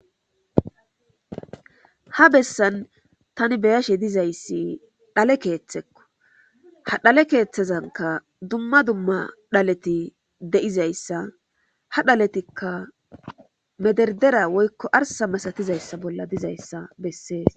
ha bessan tani beyashe dizayssi dhale keeththekko ha dhale keeththezanka dumma dumma dhaleti deizayssa ha dhaletikka mederdera woykko arsa masatizayssa bolla dizayssa bessees